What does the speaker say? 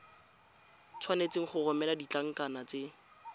tshwanetse go romela ditlankana tse